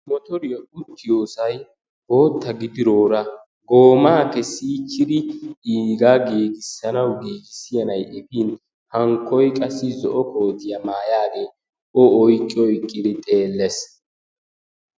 Motoriya uttiyosayi bootta gididoora goomaa kessiichchidi iigaa giugissanawu giigissiya na'ayi efin hankkoyi qassi zo'o kootiya maayaagee o oyqqi oyqqidi xeelles.